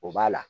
O b'a la